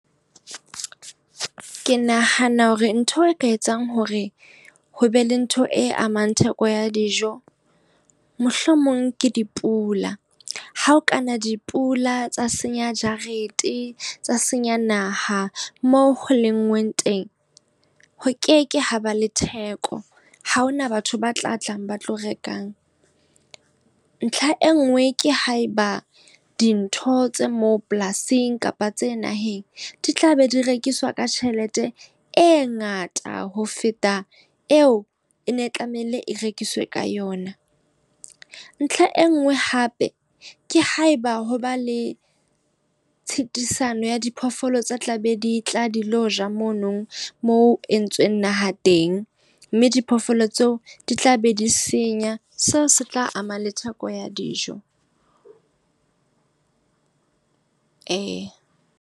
Ke nahana hore ntho e ka etsang hore ho be le ntho e amang theko ya dijo, mohlomong ke dipula. Ha ho kana dipula tsa senya jarete, tsa senya naha, moo o lenngweng teng. Ho ke ke haba le theko, ha hona batho ba tla tlang ba tlo rekang. Ntlha e nngwe ke ha eba dintho tse moo polasing kapa tse naheng, di tlabe di rekiswa ka tjhelete e ngata ho feta eo ene tlamehile e rekiswa ka yona. Ntlha e nngwe hape ke haeba hoba le tshitisano ya diphoofolo tse tlabe ditla di lo ja mono moo ho entsweng naha teng. Mme diphoofolo tseo di tlabe di senya, seo se tla ama le theko ya dijo .